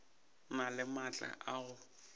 na le maatla a go